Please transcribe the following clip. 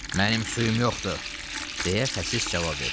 Mənim suyum yoxdur, deyə xəsis cavab verdi.